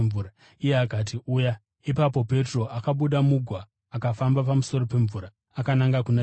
Iye akati, “Uya.” Ipapo Petro akabuda mugwa akafamba pamusoro pemvura akananga kuna Jesu.